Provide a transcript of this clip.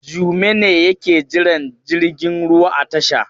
Jume ne yake jiran jirgin ruwa a tasha.